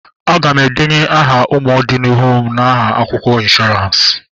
Aga m endenye aha ụmụ ọdi n'ihu m na akwụkwọ ịnshọransị